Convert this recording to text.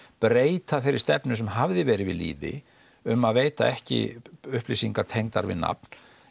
breyta þeirri stefnu sem hafði verið við lýði um að veita ekki upplýsingar tengdar við nafn